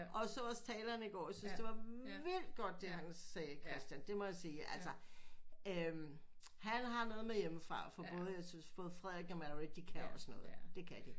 Og så også talerne i går jeg synes det var vildt godt det han sagde Christian det må jeg sige altså øh han har noget med hjemme fra fra både jeg synes for både Frederik og Mary de kan også noget det kan de